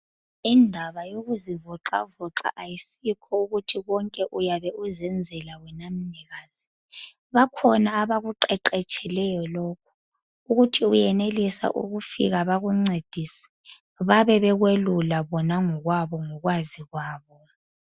Indaba yokuzivoxa voxa ayisekho ukuthi konke uyabe uzenzela wena mnikazi bakhona abakuqeqetsheleyo lokhu ukuthi uyenelisa ukufika bakuncedise babe bekwelula bona ngokwabo ngokwazi kwabo.